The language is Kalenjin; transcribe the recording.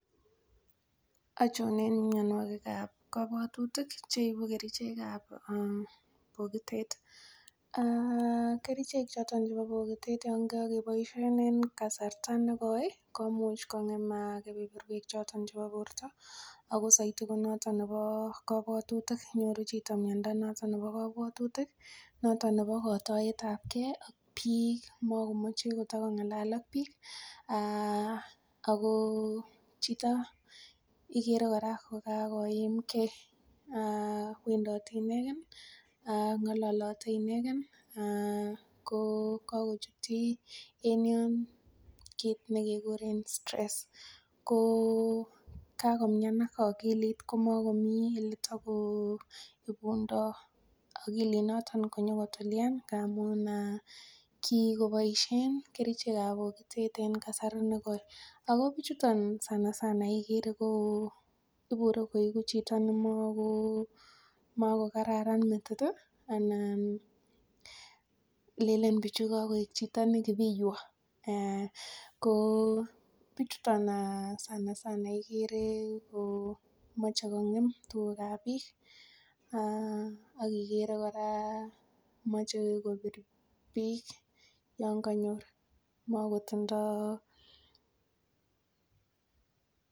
Achon en mianwagik ab kabwatutik cheibu kerchek ab bokitet kerchek choton chebo bokitet kityo yangagebaishen kasarta negoi komuch kogem keberwek choton chebo borta ak kabwatutik ak koib Chito miando Nebo kabwatutik noton Nebo kataiyet ab gei ak bik magomache kotakongalal ak bik ako Chito neigere koraa kokakoimgei kowendote ineken akongalalate inegen kokakochutyi en yon kit nekikuren stress kokakomian akilit komakomii takoibundoo akilit noton konyo kotulian amun kikobaishen kerchek ab kabokotet en kasari negoi ako bichu sanasana igere koibure koigu Chito nemako kararan metit anan lenen bichu Chito nekibiywa kobichuton sanasana igere ko mache kongem tuga ab bik akigere koraa mache kobir bik yanganyor kotumdoo